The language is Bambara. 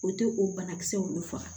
O tɛ o banakisɛw de faga